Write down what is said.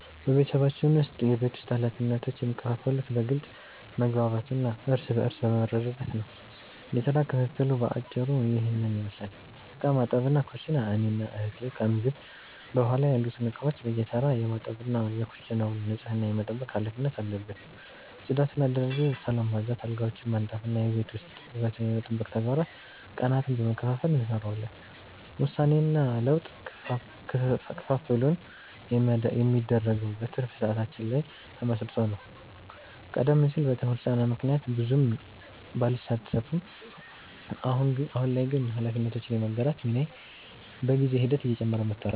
በቤተሰባችን ውስጥ የቤት ውስጥ ኃላፊነቶች የሚከፋፈሉት በግልጽ መግባባት እና እርስ በርስ በመረዳዳት ነው። የሥራ ክፍፍሉ በአጭሩ ይህንን ይመስላል፦ ዕቃ ማጠብና ኩሽና፦ እኔና እህቴ ከምግብ በኋላ ያሉትን ዕቃዎች በየተራ የማጠብ እና የኩሽናውን ንጽህና የመጠበቅ ኃላፊነት አለብን። ጽዳትና አደረጃጀት፦ ሳሎንን ማጽዳት፣ አልጋዎችን ማንጠፍ እና የቤት ውስጥ ውበትን የመጠበቅ ተግባራትን ቀናትን በመከፋፈል እንሰራዋለን። ውሳኔና ለውጥ፦ ክፍፍሉ የሚደረገው በትርፍ ሰዓታችን ላይ ተመስርቶ ነው። ቀደም ሲል በትምህርት ጫና ምክንያት ብዙም ባልሳተፍም፣ አሁን ላይ ግን ኃላፊነቶችን የመጋራት ሚናዬ በጊዜ ሂደት እየጨመረ መጥቷል።